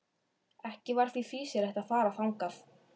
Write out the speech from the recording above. Ekki var því fýsilegt að fara þangað.